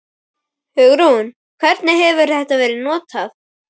Hugrún: Hvernig hefur þetta verið notað?